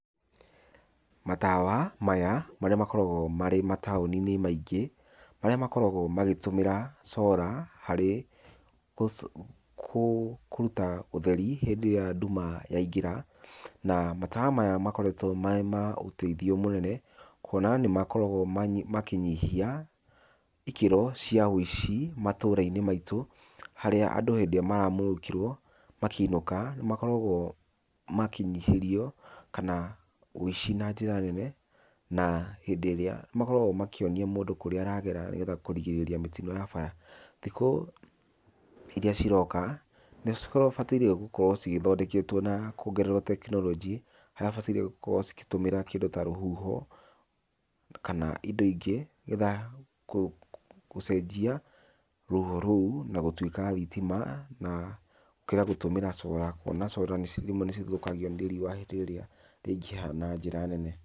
Matawa maya marĩa makoragwo marĩ mataũni-inĩ maingĩ, marĩa makoragwo magĩtũmĩra solar harĩ kũruta ũtheri hĩndĩ ĩrĩa nduma yaingĩra. Na matawa maya makoretwo marĩ ma ũteithio mũnene, kwona nĩ makoragwo makĩnyihia ikĩro cia ũici matũra-inĩ maitũ harĩa, andũ hĩndĩ ĩrĩa maramũrĩkĩrwo makĩinũka nĩ makoragwo makĩnyihĩrio kana, wũici na njĩra nene, na hĩndĩ ĩrĩa makoragwo makĩonia mũndũ kũrĩa aragera nĩgetha kũrigĩrĩria mĩtino ya bara. Thikũ iria ciroka nĩ cigũkorwo cibataire gũkorwo cigĩthondeketwo na kũongererwo technology harĩa cibataire gũkorwo cikĩtũmĩra kĩndũ ta rũhuho, kana indo ingĩ nĩgetha kũcenjia rũhuho rũu na gũtwĩka thitima, na gũkĩra gũtũmĩra solar kũona solar nĩ rĩmwe nĩ cithũkagio nĩ riũa hĩndĩ ĩrĩa rĩaingĩha na njĩra nene.